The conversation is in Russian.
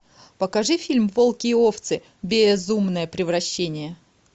покажи фильм волки и овцы бееезумное превращение